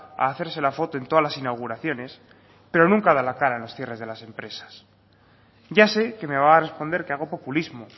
a hacerse la foto en todas las inauguraciones pero nunca da la cara en los cierres de las empresas ya sé que me va a responder que hago populismo